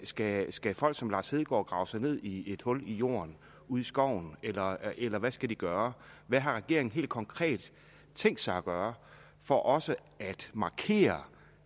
skal skal folk som lars hedegaard grave sig ned i et hul i jorden ude i skoven eller eller hvad skal de gøre hvad har regeringen helt konkret tænkt sig at gøre for også at markere